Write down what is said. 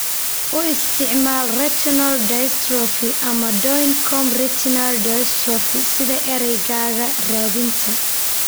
U isticmaal "retinal dystrophy" ama "Doyne comb retinal dystrophy" sida eraygaaga raadinta.